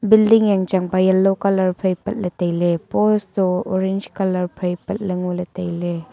building yanchangba yellow colour phai patley tailay pose to orange colour phai patley ngoley tailay.